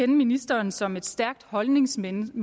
ministeren som et stærkt holdningsmenneske